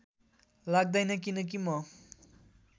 लाग्दैन किनकी म